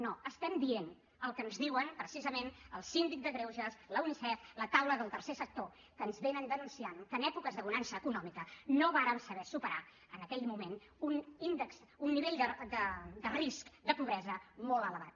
no estem dient el que ens diuen precisament el síndic de greuges la unicef la taula del tercer sector que ens denuncien que en èpoques de bonança econòmica no vàrem saber superar en aquell moment un nivell de risc de pobresa molt elevat